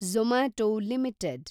Zomato limited